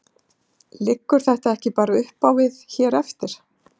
Liggur þetta ekki bara uppá við hér eftir?